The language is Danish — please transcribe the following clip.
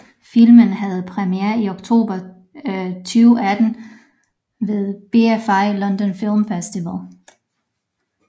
Filmen havde premiere i oktober 2018 ved BFI London Film Festival